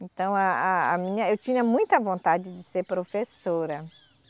Então a a a minha, eu tinha muita vontade de ser professora.